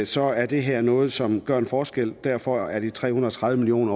så er det her noget som gør en forskel derfor er tildelingen af de tre hundrede og tredive million